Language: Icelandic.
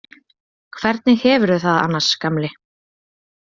Hvernig hefurðu það annars, gamli?